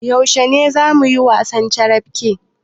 Yaushe zamuyi wasan carabke?